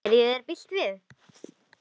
Gerði ég þér bylt við?